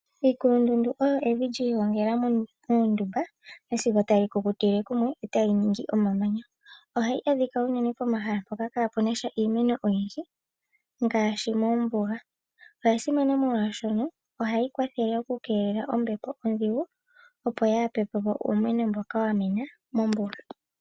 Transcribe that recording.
Iikulundundu oyo evi lyi igongela uundumba nasigo tali kukutile kumwe etali ningi omamanya. Ohayi adhika uunene pomahala mpoka kapuna iimeno oyindji ngaashi moombuga. Oya simana molwashoka ohayi kwathele ombepo ondhigu opo ya pepepo uumeno mboka wa mena mombuga.